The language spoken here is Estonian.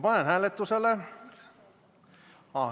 Panen hääletusele ...